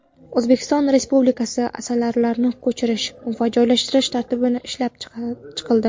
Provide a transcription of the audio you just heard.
O‘zbekiston Respublikasida asalarilarni ko‘chirish va joylashtirish tartibi ishlab chiqildi.